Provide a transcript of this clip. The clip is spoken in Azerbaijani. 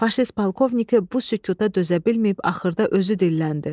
Faşist polkovniki bu sükuta dözə bilməyib axırda özü dilləndi.